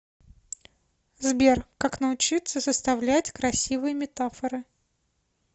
сбер как научиться составлять красивые метафоры